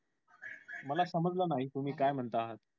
मला समजलं नाही तुम्ही काय म्हणता आहात